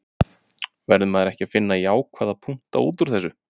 Verður maður ekki að finna jákvæða punkta útúr þessu?